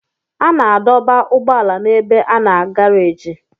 A na-adọba ụgbọala n'ebe a na garaajị.